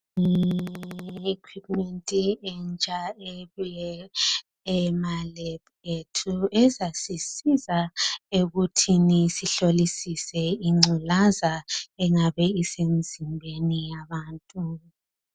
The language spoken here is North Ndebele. I equipment entsha ebuyileyo emalebhu ethu ezasisiza ekuthini sihlolisise ingculaza engabe isemzimbeni yabantu.